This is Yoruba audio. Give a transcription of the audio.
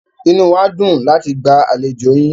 Inú wá dùn láti gba àlejò yín.